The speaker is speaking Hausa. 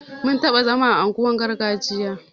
Mun taɓa zama a unguwar gargajiya